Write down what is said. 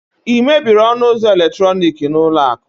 ị mebiri ọnụ ụzọ eletrọnịkị n'ụlọ akụ?